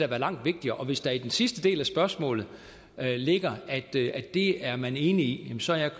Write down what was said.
være langt vigtigere og hvis der i den sidste del af spørgsmålet ligger at det det er man enig i så er jeg